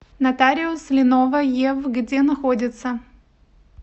нотариус линова ев где находится